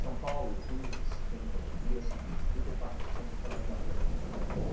São Paulo, os números que se tem hoje em dia é o seguinte, trinta e quatro por cento só anda a pé.